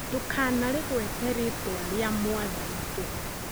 Ndũkanarĩgwete rĩtwa rĩa Mwathani tũhũ